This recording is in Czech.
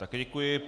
Také děkuji.